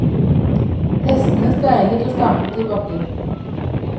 Hestene steiler og stamper i bakken.